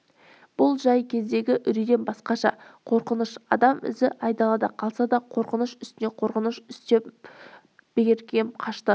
бұл жай кездегі үрейден басқаша қорқыныш адам ізі айдалада қалса да қорқыныш үстіне қорқыныш үстеліп берекем қашты